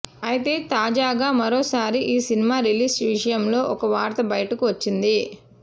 అయితే తాజాగా మరోసారి ఈ సినిమా రిలీజ్ విషయంలో ఒక వార్త బయటకు వచ్చింది